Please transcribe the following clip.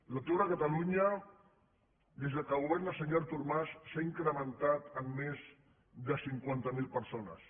l’atur a catalunya des que governa el senyor artur mas s’ha incrementat en més de cinquanta mil persones